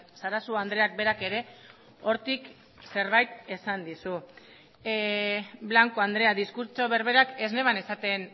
sarasua andreak berak ere hortik zerbait esan dizu blanco andrea diskurtso berberak ez neban esaten